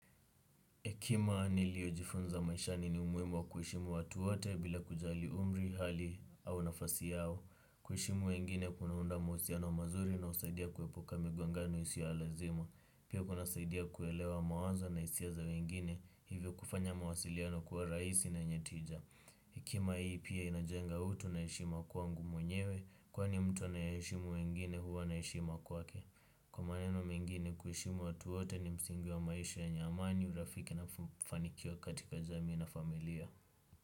Hekima niliojifunza maishani ni umuhimu wa kuheshimu watu wote bila kujali umri hali au nafasi yao. Kuheshimu wengine kunaunda mahusiano mazuri na husaidia kuepuka migongano isiyo ya lazima. Pia kunasaidia kuelewa mawazo na hisia za wengine hivyo kufanya mawasiliano kuwa raisi na yenye tija. Hekima hii pia inajenga utu na heshima kwangu mwenyewe kwani mtu nayeheshimu wengine huwa na heshima kwake. Kwa maneno mengine kuheshimu watu wote ni msingi wa maisha yenye amani urafiki na mafanikio katika jamii na familia.